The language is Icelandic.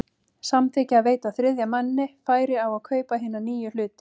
samþykkja að veita þriðja manni færi á að kaupa hina nýju hluti.